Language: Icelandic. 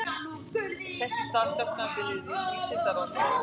Þess í stað sökkti hann sér niður í vísindarannsóknir.